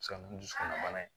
Se ka na ni dusukun bana ye